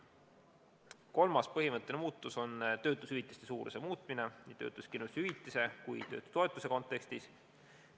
Kolmas põhimõtteline muudatus on töötushüvitise suuruse muutmine nii töötuskindlustushüvitise kui töötutoetuse kontekstis.